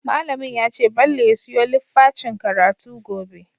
Mallamin yace bello ya siyo littfacin karatu gobe